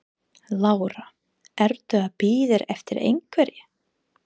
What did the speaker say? Lára: Ertu að bíða eftir einhverri?